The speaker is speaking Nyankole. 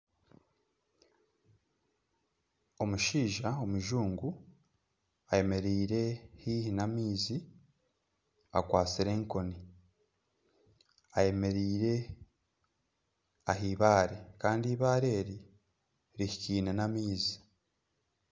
Omushaija omujungu ayemereire haihi namaizi akwatsire enkoni ayemereire aheibaare Kandi ibaare eri rihikaine n'amaizi